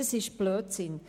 Das ist Blödsinn.